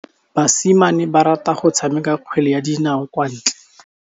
Basimane ba rata go tshameka kgwele ya dinaô kwa ntle.